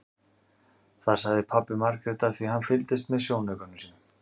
Það sagði pabbi Margrétar því hann fylgdist með í sjónaukanum sem